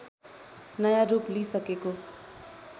नयाँ रूप लिसकेको